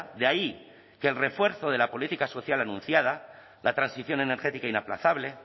de ahí que el refuerzo de la política social anunciada la transición energética inaplazable